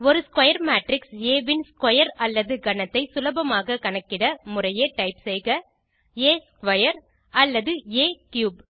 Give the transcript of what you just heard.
ஒரு square matrix ஆ ன் ஸ்க்வேர் அல்லது கணத்தை சுலபமா கணக்கிட முறையே டைப் செய்க ஆ ஸ்க்வேர் அல்லது ஆ கியூப்